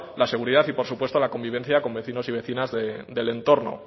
la seguridad y por supuesto la convivencia con vecinos y vecinas del entorno